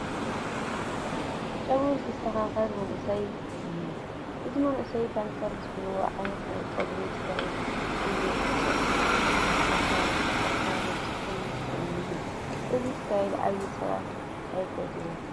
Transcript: ጨጉሩ ዝስተኻኸል መንእሰይ እኒአ፡፡ እዚ መንእሰይ ፓንከር ዝብልዎ ዓይነት ናይ ጨጉሪ ስታይል እዩ ተኸርኪሞ ዝኒአ፡፡ ነዚ ስታይል ዓበይቲ ሰባት ኣይፈትዉዎን፡፡